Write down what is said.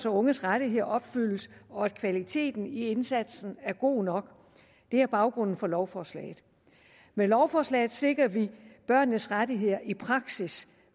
unges rettigheder opfyldes og at kvaliteten i indsatsen er god nok det er baggrunden for lovforslaget med lovforslaget sikrer vi børnenes rettigheder i praksis